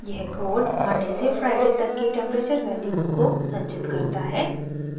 यह code Monday से Friday तक की टेम्प्रेचर वैल्यूज़ को संचित करता है